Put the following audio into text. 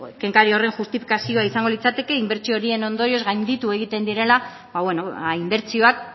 kenkari horren justifikazio izango litzateke inbertsio horien ondorioz gainditu egiten direla ba bueno ba inbertsioak